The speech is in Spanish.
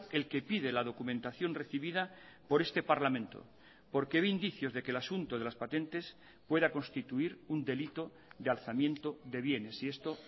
el que pide la documentación recibida por este parlamento porque ve indicios de que el asunto de las patentes pueda constituir un delito de alzamiento de bienes y esto